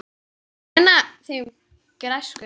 Ég gruna þig um græsku.